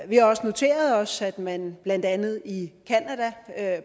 vi har også noteret os at man blandt andet i canada